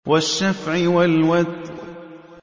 وَالشَّفْعِ وَالْوَتْرِ